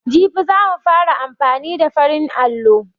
Jibi za mu fara amfani da farin allo.